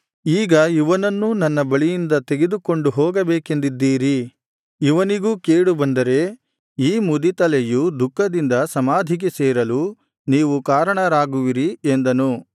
ಈಗ ಇವನನ್ನೂ ನನ್ನ ಬಳಿಯಿಂದ ತೆಗೆದುಕೊಂಡು ಹೋಗಬೇಕೆಂದಿದ್ದೀರಿ ಇವನಿಗೂ ಕೇಡು ಬಂದರೆ ಈ ಮುದಿ ತಲೆಯು ದುಃಖದಿಂದ ಸಮಾಧಿಗೆ ಸೇರಲು ನೀವು ಕಾರಣರಾಗುವಿರಿ ಎಂದನು